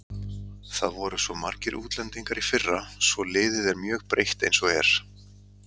Það voru svo margir útlendingar í fyrra svo liðið er mjög breytt eins og er.